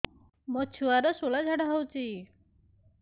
ମୋ ଛୁଆର ସୁଳା ଝାଡ଼ା ହଉଚି